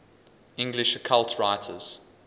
english occult writers